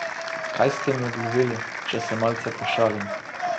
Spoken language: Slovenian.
Kaj ste jim obljubili, če se malce pošalim?